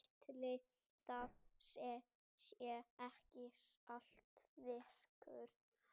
Ætli það sé ekki saltfiskur.